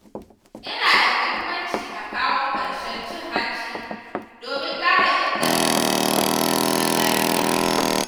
Yana da mahimmanci a kawo ƙarshen cin hanci domin ƙara inganta tsaro da zaman lafiya.